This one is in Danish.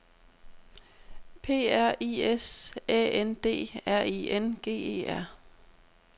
P R I S Æ N D R I N G E R